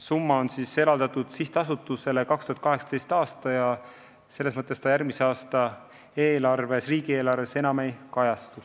Summa on sihtasutusele eraldatud tänavu ja järgmise aasta riigieelarves enam ei kajastu.